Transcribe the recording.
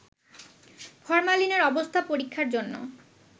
ফরমালিনের অবস্থা পরীক্ষার জন্য